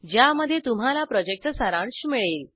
ज्यामध्ये तुम्हाला प्रॉजेक्टचा सारांश मिळेल